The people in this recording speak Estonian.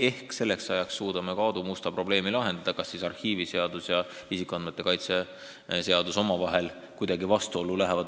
Ehk suudame selleks ajaks ka Aadu Musta probleemi lahendada – kas arhiiviseadus ja isikuandmete kaitse seadus lähevad siis omavahel kuidagi vastuollu või mitte.